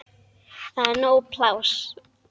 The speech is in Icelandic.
Það er nóg pláss.